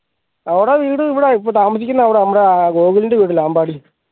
അവടെ വീട് ഇവിടെ ഇപ്പോ താമസിക്കുന്നത് അവിടെ നമ്മുടെ ഗോകുലിന്റെ വീട് അമ്പാടി